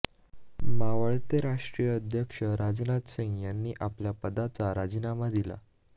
मावळते राष्ट्रीय अध्यक्ष राजनाथ सिंग यांनीआपल्या पदाचा राजीनामा दिला